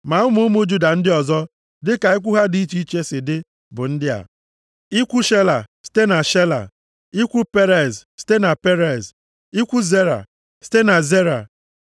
Ma ụmụ ụmụ Juda ndị ọzọ, dịka ikwu ha dị iche iche si dị bụ ndị a: ikwu Shela, site na Shela, ikwu Perez, site na Perez, ikwu Zera, site na Zera.